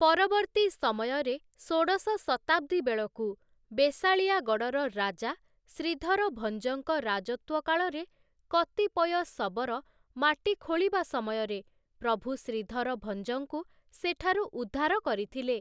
ପରବର୍ତ୍ତୀ ସମୟରେ ଷୋଡ଼ଶ ଶତାବ୍ଦୀ ବେଳକୁ ବେଶାଳିଆଗଡ଼଼ର ରାଜା ଶ୍ରୀଧର ଭଞ୍ଜଙ୍କ ରାଜତ୍ୱ କାଳରେ କତିପୟ ଶବର ମାଟି ଖୋଳିବା ସମୟରେ ପ୍ରଭୁ ଶ୍ରୀଧର ଭଞ୍ଜଙ୍କୁ ସେଠାରୁ ଉଦ୍ଧାର କରିଥିଲେ ।